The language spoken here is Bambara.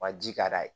Wa ji ka d'a ye